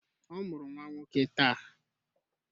Ọ mụrụ nwa nwoke taa